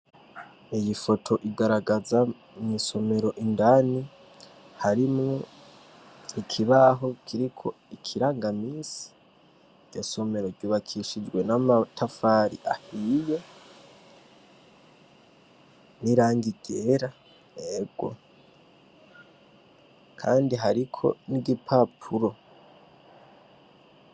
Iyi foto igaragaza mw'isomero indani harimwo ikibaho kiriko ikirangamisi. Iryo somero ryubakishijwe n'amatafari ahiye n'irangi ryera ego. Kandi hariko n'igipapuro.